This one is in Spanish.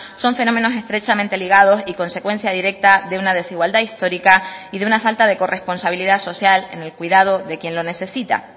son fenómenos estrechamente ligados y consecuencia directa de una desigualdad histórica y de una falta de corresponsabilidad social en el cuidado de quien lo necesita